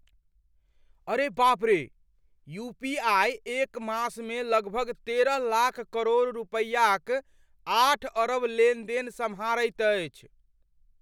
अरे बाप रे! यूपीआई एक मासमे लगभग तेरह लाख करोड़ रुपयाक आठ अरब लेनदेन सम्हारैत अछि ।